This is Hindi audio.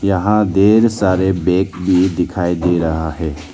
यहां ढेर सारे बैग में दिखाई दे रहा है।